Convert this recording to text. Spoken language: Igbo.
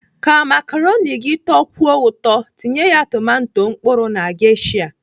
Ka makaroni gị tọkwuo ụtọ, tinye ya tomato mkpụrụ na gesha.